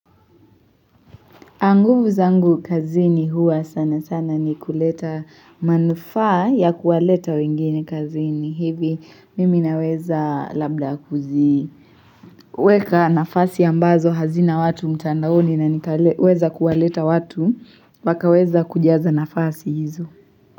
Nguvu zangu kazi ni huwa sana sana ni kuleta manufaa ya kuwaleta wengine kazini hivi mimi naweza labda kuzi weka nafasi ambazo hazina watu mtandaoni na nikaweza kuwaleta watu wakaweza kujaza nafasi hizo.